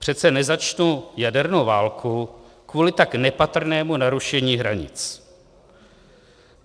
Přece nezačnu jadernou válku kvůli tak nepatrnému narušení hranic.